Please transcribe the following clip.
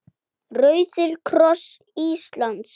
Rauði kross Íslands